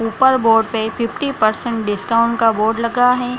ऊपर बोर्ड पे fifty percent discount का बोर्ड लगा है।